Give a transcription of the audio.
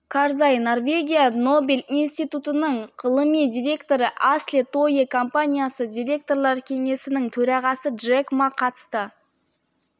карзай норвегия нобель институтының ғылыми директоры асле тойе компаниясы директорлар кеңесінің төрағасы джек ма қатысты